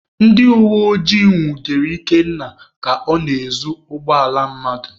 Ndị uweojii nwudere Ikenna ka ọ na-ezu ụgbọala mmadụ.